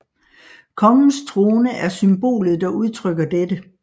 Kongens trone er symbolet der udtrykker dette